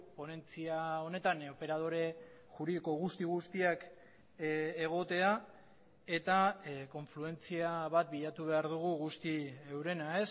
ponentzia honetan operadore juridiko guzti guztiak egotea eta konfluentzia bat bilatu behar dugu guzti eurena